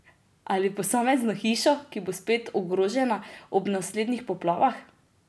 Ali posamezno hišo, ki bo spet ogrožena ob naslednjih poplavah?